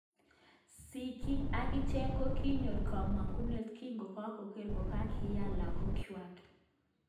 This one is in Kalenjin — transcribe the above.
Sikiig akicheg kokinyor komongunet kinkoker kokakinya lagok ngwak